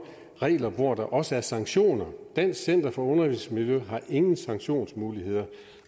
regler hvor der også er sanktioner dansk center for undervisningsmiljø har ingen sanktionsmuligheder